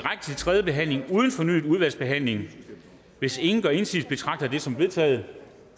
tredje behandling uden fornyet udvalgsbehandling hvis ingen gør indsigelse betragter jeg det som vedtaget